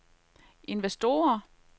investorer